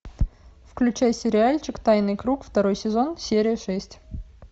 включай сериальчик тайный круг второй сезон серия шесть